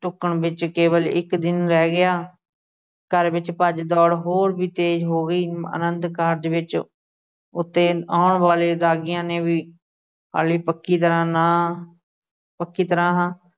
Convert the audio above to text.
ਢੁਕਣ ਵਿੱਚ ਕੇਵਲ ਇੱਕ ਦਿਨ ਰਹਿ ਗਿਆ, ਘਰ ਵਿੱਚ ਭੱਜ-ਦੌੜ ਹੋਰ ਵੀ ਤੇਜ਼ ਹੋ ਗਈ। ਆਨੰਦ ਕਾਰਜ ਵਿੱਚ ਉਥੇ ਆਉਣ ਵਾਲੇ ਰਾਗੀਆਂ ਨੇ ਵੀ ਹਾਲੇ ਪੱਕੀ ਤਰ੍ਹਾਂ ਨਾਂਹ, ਪੱਕੀ ਤਰ੍ਹਾਂ ਹਾਂ